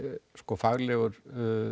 faglegur